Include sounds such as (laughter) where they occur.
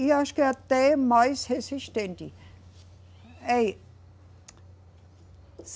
E eu acho que é até mais resistente. É (unintelligible)